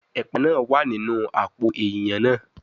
Epa naa wa ninu apo eiyan naa